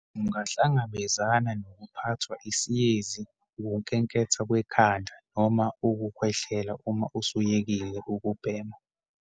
Ungahlangabezana nokuphathwa isiyezi, ukunkenketha kwekhanda noma ukukhwehlela uma usuyekile ukubhema.